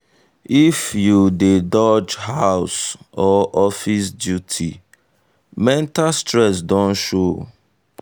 if you dey dodge house or office duty mental stress don show.